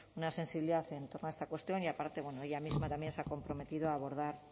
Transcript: una sensibilidad en torno a esta cuestión y aparte ella misma también se ha comprometido a abordar